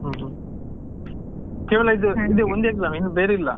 ಹ್ಮ್ ಹ್ಮ್ ಕೇವಲ ಒಂದೇ exam ಆ ಇನ್ನು ಬೇರೆ ಇಲ್ಲ.